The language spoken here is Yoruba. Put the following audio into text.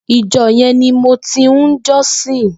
Ijò yèn ni mó ti n jòsín